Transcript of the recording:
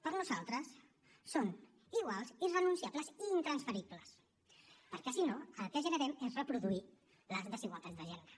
per nosaltres són iguals irrenunciables i intransferibles perquè si no el que generem és reproduir les desigualtats de gènere